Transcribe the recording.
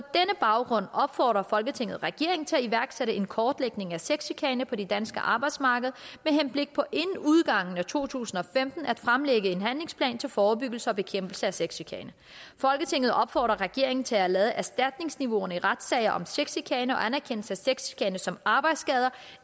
baggrund opfordrer folketinget regeringen til at iværksætte en kortlægning af sexchikane på det danske arbejdsmarked med henblik på inden udgangen af to tusind og femten at fremlægge en handlingsplan til forebyggelse og bekæmpelse af sexchikane folketinget opfordrer regeringen til at lade erstatningsniveauet i retssager om sexchikane og anerkendelse af sexchikane som arbejdsskader